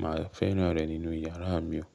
mà á fẹ́ràn rẹ̀ nínú yàrá mi o.